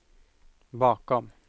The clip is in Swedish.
bakom